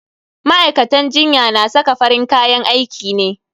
Ma'aikatan jinya na saka farin kayan aiki ne.